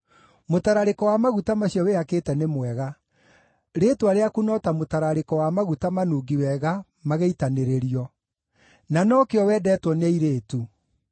Mũtararĩko wa maguta macio wĩhakĩte nĩ mwega; rĩĩtwa rĩaku no ta mũtararĩko wa maguta manungi wega magĩitanĩrĩrio. Na nokĩo wendetwo nĩ airĩtu!